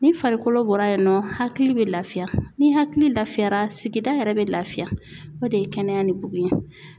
Ni farikolo bɔra yen nɔ hakili be lafiya ni hakili lafiyara sigida yɛrɛ bɛ lafiya o de ye kɛnɛya ni bugun ye.